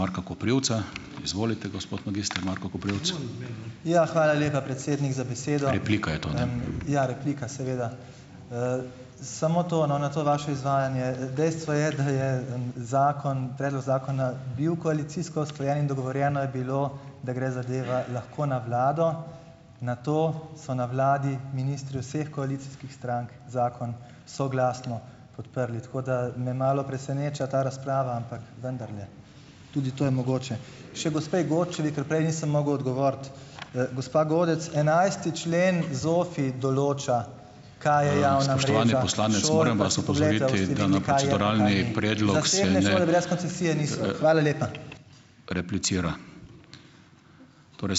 Ja, hvala lepa, predsednik, za Ja, replika, seveda. Samo to, no, na to vaše izvajanje. Dejstvo je, da je, zakon, predlog zakona bil koalicijsko usklajen, in dogovorjeno je bilo, da gre zadeva lahko na vlado, nato so na vladi ministri vseh koalicijskih strank zakon soglasno podprli. Tako da, me malo preseneča ta razprava, ampak vendarle, tudi to je mogoče. Še gospe Godčevi, ker prej nisem mogel odgovoriti. Gospa Godec, enajsti člen ZOFVI določa Hvala lepa.